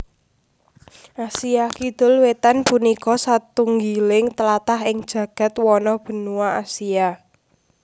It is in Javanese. Asia Kidul Wétan punika satunggiling tlatah ing jagad wano benua Asia